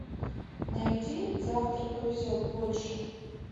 найди завтра повезет больше